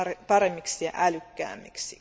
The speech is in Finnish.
paremmiksi ja älykkäämmiksi.